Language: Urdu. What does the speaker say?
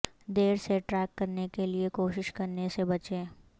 دیر سے ٹریک رکھنے کے لئے کوشش کرنے سے بچیں